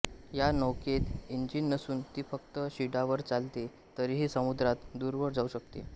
या नौकेत इंजिन नसून ती फक्त शिडावर चालते तरीही समुद्रात दूरवर जाऊ शकते